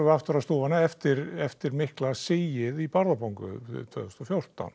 aftur á stúfana eftir eftir mikla sigið í Bárðarbungu tvö þúsund og fjórtán